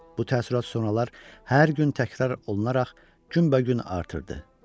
Bu təəssürat sonralar hər gün təkrar olunaraq günbəgün artırdı.